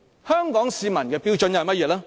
香港市民的標準又是甚麼呢？